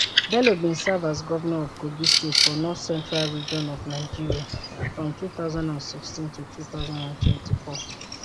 bello bin serve as govnor of kogi state for north central region of nigeria from 2016 to 2024